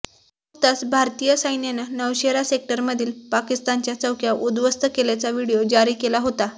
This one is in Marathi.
नुकताच भारतीय सैन्यानं नौशेरा सेक्टरमधील पाकिस्तानच्या चौक्या उद्ध्वस्त केल्याचा व्हिडिओ जारी केला होता